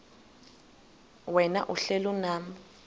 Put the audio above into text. wena uhlel unam